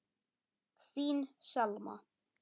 Þín Selma.